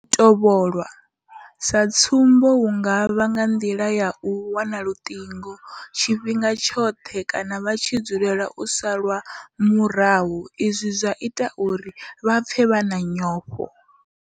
U tovholwa sa tsumbo hu nga vha nga nḓila ya u wana luṱingo tshifhinga tshoṱhe kana vha tshi dzulela u salwa murahu izwi zwa ita uri vha pfe vha na nyofho.